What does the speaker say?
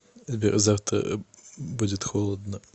сбер завтра будет холодно